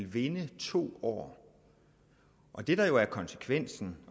vinde to år det der er konsekvensen